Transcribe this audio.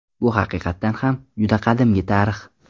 Bu haqiqatan ham, juda qadimgi tarix.